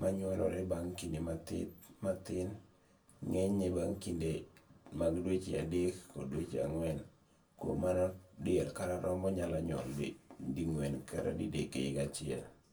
manyuolore bang' kinde mathin mathin , ngenyne bang' kinde mag dweche adek kod dweche angwen kuom mano diel kata rombo nyalo nyuol dingwen kata didek e higa achiel